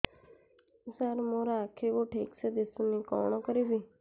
ସାର ମୋର ଆଖି କୁ ଠିକସେ ଦିଶୁନି କଣ କରିବି